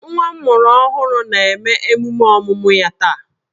Nwa m mụrụ ọhụrụ na-eme emume ọmụmụ ya taa